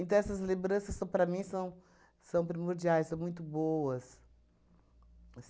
Então, essas lembranças, para mim, são são primordiais, são muito boas.